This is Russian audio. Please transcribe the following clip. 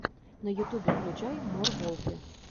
на ютубе включай мор волфи